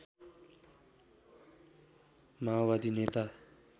माओवादी नेता